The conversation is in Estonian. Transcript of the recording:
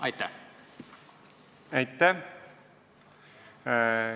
Aitäh!